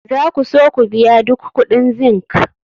za ku so ku biya duk kuɗin zinc?